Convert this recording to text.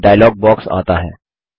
एक dialogue box आता है